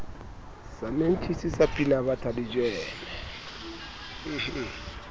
samentjhisi sa pinabatha le jeme